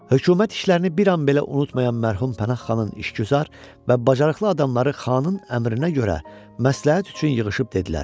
Hökumət işlərini bir an belə unutmayan mərhum Pənahxanın işgüzar və bacarıqlı adamları xanın əmrinə görə məsləhət üçün yığışıb dedilər: